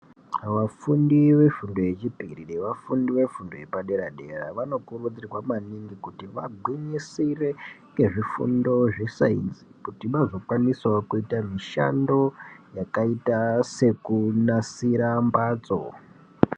Vafundi vefundo yechipiri nevafundi vefundo vepadera dera vanokurudzirwa maningi kuti vagwinyisire ngezvifundo zvesainzi kuti vanokwanisawo kuita mishando yakaita sekunasira mbatso.